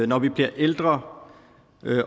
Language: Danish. når vi bliver ældre